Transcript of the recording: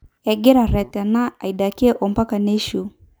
Egiraaretena aidakie ompaka neishu.